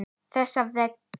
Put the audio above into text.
Þessa veggi.